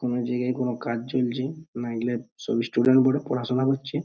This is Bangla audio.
কোনো জায়গায় কোনো কাজ চলছে নাইলে সব স্টুডেন্ট গুলো পড়াশোনা করছে।